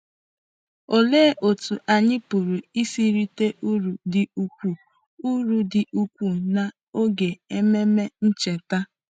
Olee otú anyị pụrụ isi rite uru dị ukwuu uru dị ukwuu n’oge Ememe Ncheta?